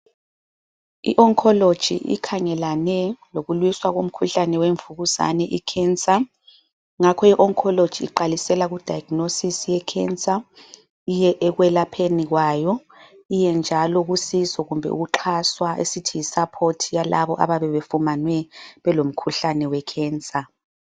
I oncology ikhangelane lokulwisa kumkhuhlane wemvukuzane icancer, ngakho ioncology iqalisela kudiagnosis yecancer iye ekwelapheni kwayo, iye njalo kusizo kumbe ukuxhaswa esithi yi support yalabo abayabe befumanwe belomkhuhlane we cancer